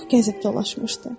O çox gəzib dolaşmışdı.